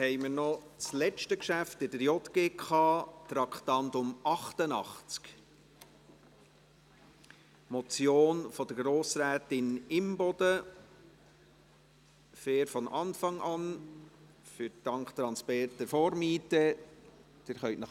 Wir kommen zum letzten Geschäft der JGK, zum Traktandum 88, einer Motion von Grossrätin Imboden «Fair von Anfang an, dank transparenter Vormiete [...]».